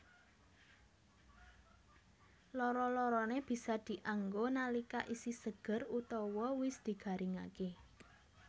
Loro loroné bisa dianggo nalika isih seger utawa wis digaringaké